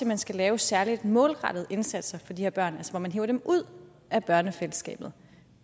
man skal lave særlig målrettede indsatser for de her børn hvor man hiver dem ud af børnefællesskabet